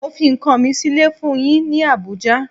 Mo fi nkan mi sile fun yin ni Abuja